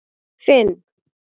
Finn